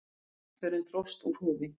Íslandsförin dróst úr hófi.